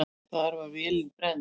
Þar var vélin brennd.